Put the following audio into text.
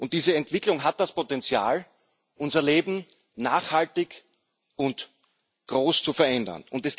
Diese Entwicklung hat das Potenzial, unser Leben nachhaltig und groß zu verändern.